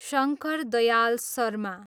Shankar Dayal Sharma